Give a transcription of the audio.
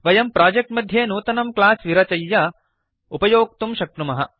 वयं प्रोजेक्ट् मध्ये नूतनं क्लास् विरचय्य उपयोक्तुं शक्नुमः